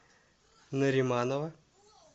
нариманова